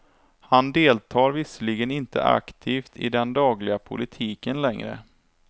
Han deltar visserligen inte aktivt i den dagliga politiken längre.